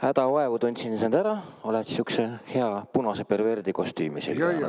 Gaute, hädavaevu tundsin sind ära, oled sihukese hea punase perverdikostüümi selga ajanud endale.